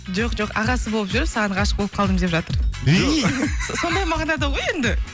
жоқ жоқ ағасы болып жүріп саған ғашық болып қалдым деп жатыр өй сондай мағынада ғой енді